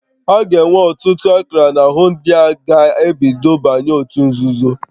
A ga-enwe ọtụtụ akara n'ahụ ndị a ga-ebido banye n'òtù nzuzo